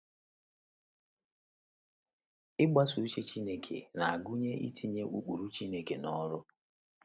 Ịgbaso uche Chineke na - agụnye itinye ụkpụrụ Chineke n’ọrụ.